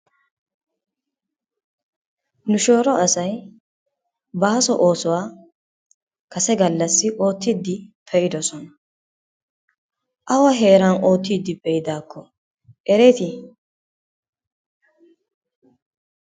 Nu shooro asay baaso oosuwa kase gallassi oottidi pe'ddosona. Awa heeran oottiidi pe'idaakko ereeti?